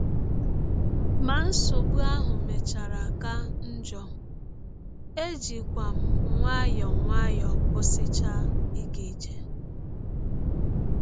Ma nsọgbụ ahụ mechara ka njọ, ejikwa m nwayọọ nwayọọ kwụsịchaa ịga ije.